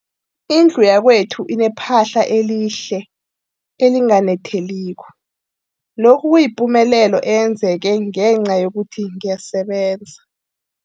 Indlu yakwethu inephahla elihle, elinganetheliko, lokhu kuyipumelelo eyenzeke ngenca yokuthi ngiyasebenza.